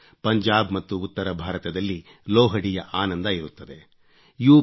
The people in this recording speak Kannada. ಪಂಜಾಬ್ ಮತ್ತು ಉತ್ತರಭಾರತದಲ್ಲಿ ಲೋಹಡಿ ಯ ಆನಂದ ಇರುತ್ತದೆ ಯುಪಿ